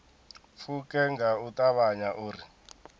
pfuke nga u ṱavhanya uri